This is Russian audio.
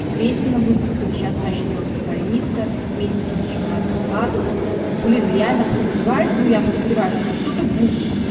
крестина выпустили сейчас начнётся больница медики начинают выкладывать блин реально подозревает но я подозреваю что что-то будет